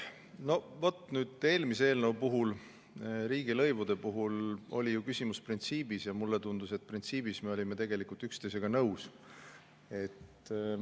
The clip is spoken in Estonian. No vot, nüüd eelmise eelnõu puhul, riigilõivude puhul oli küsimus printsiibis, ja mulle tundus, et printsiibis me olime tegelikult üksteisega nõus.